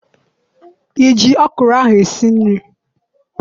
I ji ọkwụrụ ahụ esi nri?